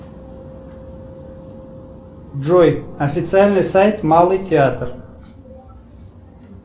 джой официальный сайт малый театр